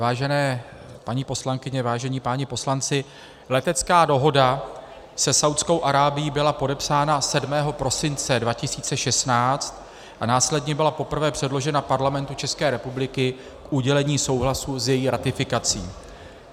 Vážené paní poslankyně, vážení páni poslanci, letecká dohoda se Saúdskou Arábií byla podepsána 7. prosince 2016 a následně byla poprvé předložena Parlamentu České republiky k udělení souhlasu s její ratifikací.